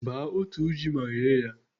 baa otu ji ma ghee ya.